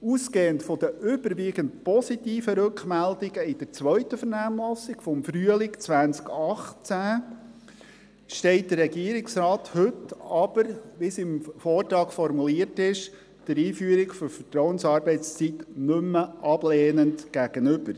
Ausgehend von den überwiegend positiven Rückmeldungen in der zweiten Vernehmlassung vom Frühling 2018 steht der Regierungsrat, wie im Vortrag formuliert, der Vertrauensarbeitszeit heute nicht mehr ablehnend gegenüber.